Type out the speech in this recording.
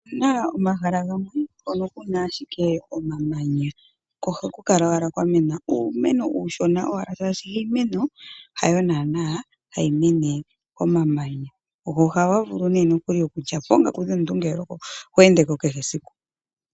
Opuna omahala gamwe mpono puna ashike omamanya, ko oha ku kala owala kwa mena uumeno uushona shaashi iimeno hayo nanaa hayi mene ko mamanya, go ohaga vulu nokuli okulya po oongaku dhaantu ngele oho endeko kehe esiku.